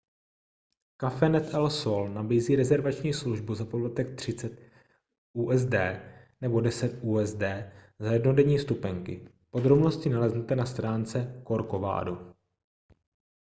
cafenet el sol nabízí rezervační službu za poplatek 30 usd nebo 10 usd za jednodenní vstupenky podrobnosti naleznete na stránce corcovado